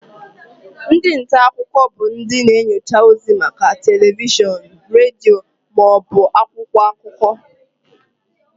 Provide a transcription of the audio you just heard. Ndị nta akụkọ bụ ndị na-enyocha ozi maka telivishọn, redio ma ọ bụ akwụkwọ akụkọ.